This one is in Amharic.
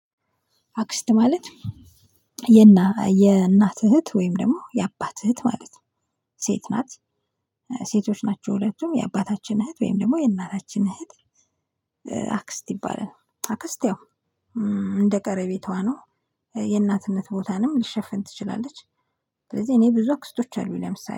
አክስት ማለት የእናት እህት ወይም ደግሞ የአባት እህት ማለት ነው ሴት ናት። ሴቶች ናቸው ያባታችን እህት ወይም ደግሞ የእናታችን እህት። አክስት ይባላል አክስት ያው እንደ ቀረቤታዋ ነው የእናትነት ቦታንም ልትሸፍን ትችላለች። ስለዚህ እኔ ብዙ አክስቶች አሉኝ ለምሳሌ